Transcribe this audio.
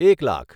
એક લાખ